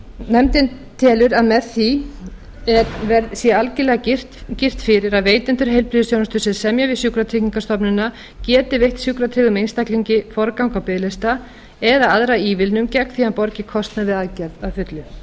nefndin telur að með því sé algerlega girt fyrir að veitendur heilbrigðisþjónustu sem semja við sjúkratryggingastofnunina geti veitt sjúkratryggðum einstaklingi forgang á biðlista eða aðra ívilnun gegn því að hann borgi kostnað við aðgerð að fullu